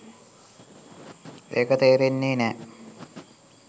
ඒක තේරෙන්නෙ නෑ